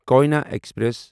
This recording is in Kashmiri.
کویٕنا ایکسپریس